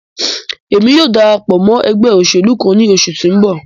Emi yóò darapọ mọ ẹgbẹ oṣelu kan ni oṣu ti n bọ